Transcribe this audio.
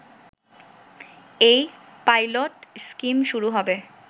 এই pilot scheme শুরু হবে